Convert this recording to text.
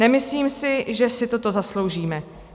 Nemyslím si, že si toto zasloužíme.